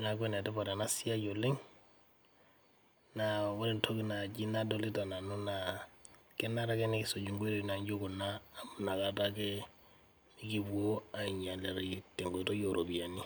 naaku enitipat ena siai oleng',naa ore entoki naaji nadoita nanu naa kenare ake nikisuj enkoitoi naijo kuna amuu inakata ake ikipoo ainyalarayu te nkoitoi eeropiyiani.